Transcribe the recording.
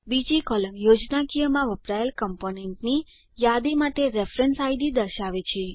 બીજી કોલમ યોજનાકીયમાં વપરાયેલ કમ્પોનન્ટની યાદી માટે રેફરેન્સ આઈડી દર્શાવે છે